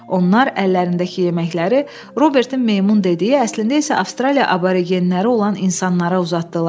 Onlar əllərindəki yeməkləri Robertin meymun dediyi, əslində isə Avstraliya aborigenləri olan insanlara uzatdılar.